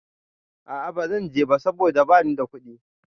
A a bazan je ba saboda bani da kuɗi.